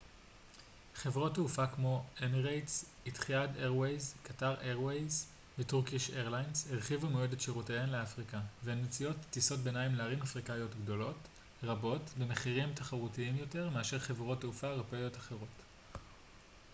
חברות תעופה כמו אמירטס איתיחאד איירווייז קטאר איירווייז וטורקיש איירליינז הרחיבו מאוד את שירותיהן לאפריקה והן מציעות טיסות ביניים לערים אפריקאיות גדולות רבות במחירים תחרותיים יותר מאשר חברות תעופה אירופאיות אחרות